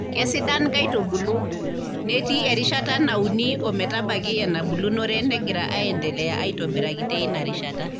Keisidan nkaitubulu, netii erishata nauni o metabaiki enabulunore negira aendelea aitobiraki teina rishata.